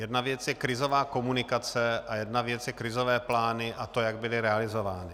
Jedna věc je krizová komunikace a jedna věc jsou krizové plány a to, jak byly realizovány.